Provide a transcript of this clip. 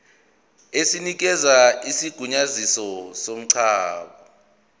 esinikeza isigunyaziso somngcwabo